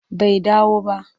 Bai dawo ba.